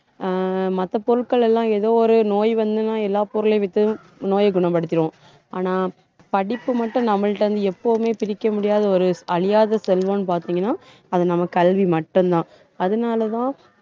அஹ் மத்த பொருட்கள் எல்லாம் ஏதோ ஒரு நோய் வந்துன்னா எல்லா பொருளையும் வித்து, நோயை குணப்படுத்திடுவோம். ஆனா படிப்பு மட்டும் நம்மள்ட்ட இருந்து எப்பவுமே பிரிக்க முடியாத ஒரு அழியாத செல்வம்னு பாத்தீங்கன்னா அது நம்ம கல்வி மட்டும்தான். அதனாலதான்